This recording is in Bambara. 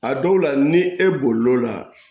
A dɔw la ni e bolila